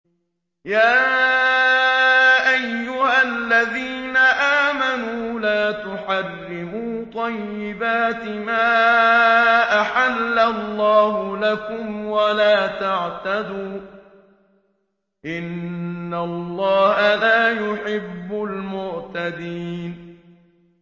يَا أَيُّهَا الَّذِينَ آمَنُوا لَا تُحَرِّمُوا طَيِّبَاتِ مَا أَحَلَّ اللَّهُ لَكُمْ وَلَا تَعْتَدُوا ۚ إِنَّ اللَّهَ لَا يُحِبُّ الْمُعْتَدِينَ